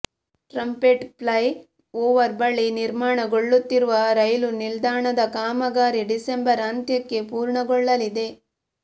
trumpet flyover ಬಳಿ ನಿರ್ಮಾಣಗೊಳ್ಳುತ್ತಿರುವ ರೈಲು ನಿಲ್ದಾಣದ ಕಾಮಗಾರಿ ಡಿಸೆಂಬರ್ ಅಂತ್ಯಕ್ಕೆ ಪೂರ್ಣಗೊಳ್ಳಲಿದೆ